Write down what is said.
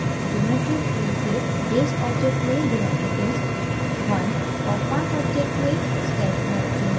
geometry tree से base object में divided disk _ 1 और path object में sketch _ 1 चुनें